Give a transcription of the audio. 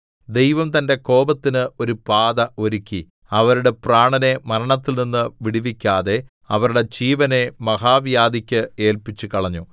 ദൈവം തന്റെ കോപത്തിന് ഒരു പാത ഒരുക്കി അവരുടെ പ്രാണനെ മരണത്തിൽനിന്നു വിടുവിക്കാതെ അവരുടെ ജീവനെ മഹാവ്യാധിക്ക് ഏല്പിച്ചുകളഞ്ഞു